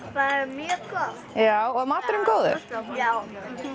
mjög gott var maturinn góður já